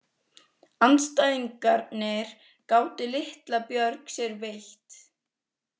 Andstæðingarnir gátu litla björg sér veitt.